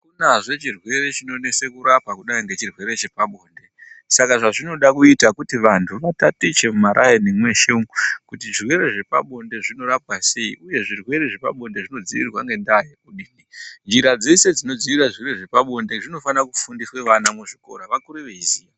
Akunazve chirwere chinonese kurapa kudai nechirwere chepabonde saka vanhu vanofanira kutaticha kuti zvirwere zvepabonde zvinorapwa sei ,uye zvirwere zvepabonde zvinodziirirwa ngendaa yekudini. Njira dzeshe dzinoziva njira dzepabonde dzinofana kufundiswe vana muzvikora, vakure veiziya.